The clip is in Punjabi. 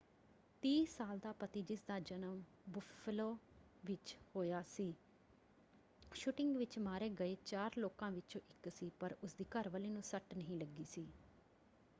30 ਸਾਲ ਦਾ ਪਤੀ ਜਿਸ ਦਾ ਜਨਮ ਬੁੱਫਲੋ ਵਿੱਚ ਹੋਇਆ ਸੀ ਸ਼ੂਟਿੰਗ ਵਿੱਚ ਮਾਰੇ ਗਏ ਚਾਰ ਲੋਕਾਂ ਵਿੱਚੋਂ ਇੱਕ ਸੀ ਪਰ ਉਸ ਦੀ ਘਰਵਾਲੀ ਨੂੰ ਸੱਟ ਨਹੀਂ ਲੱਗੀ ਸੀ।